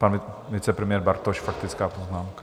Pan vicepremiér Bartoš, faktická poznámka.